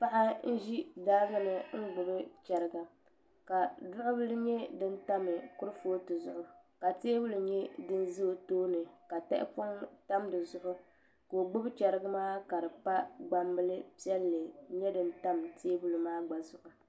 paɣa n-ʒi daaŋa ni n-gbubi chɛriga ka duɣubila nyɛ din tam kurufootu zuɣu ka teebuli nyɛ din ʒe o tooni ka tahipɔŋ tam di zuɣu ka o gbubi chɛriga maa ka di pa gbambila piɛlli nyɛ din tam teebuli maa gba zuɣu